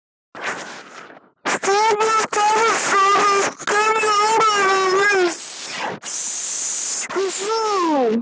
Þorbjörn Þórðarson: Skynjar þú vaxandi óánægju með hans störf?